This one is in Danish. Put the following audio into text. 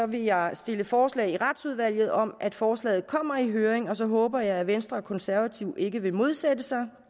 vil jeg stille forslag i retsudvalget om at forslaget kommer i høring og så håber jeg at venstre og konservative ikke vil modsætte sig